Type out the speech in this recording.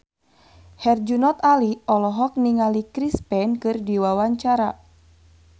Herjunot Ali olohok ningali Chris Pane keur diwawancara